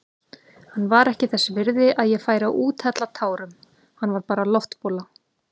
Hann var ekki þess virði að ég færi að úthella tárum, hann var bara loftbóla.